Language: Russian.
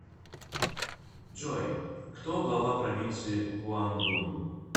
джой кто глава провинции гуандун